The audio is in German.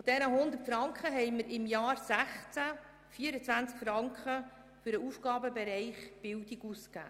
Von diesen 100 Franken haben wir im Jahr 2016 24 Franken für den Bereich Bildung ausgegeben.